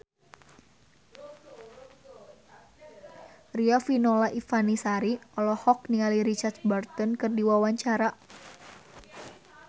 Riafinola Ifani Sari olohok ningali Richard Burton keur diwawancara